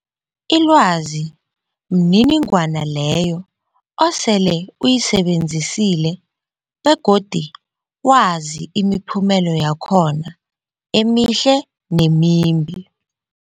Ilwazi mniningwana leyo osele uyisebenzisile begodu wazi imiphumela yakhona emihle nemimbi.